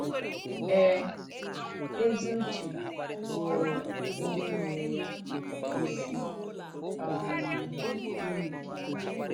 Ee, èzì ùché bụ̀ụrụ̀ ndí nwèrè ya “ìsí um ìyì nkè ndù́.”